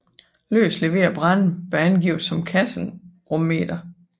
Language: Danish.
Løst leveret brænde bør angives som kasserummeter